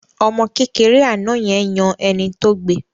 Ọmọ kékeré àná yẹn yan ẹni tó gbe